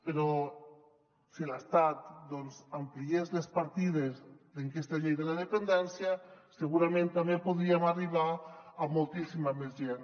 però si l’estat doncs ampliés les partides d’aquesta llei de la dependència segurament també podríem arribar a moltíssima més gent